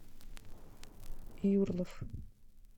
юрлов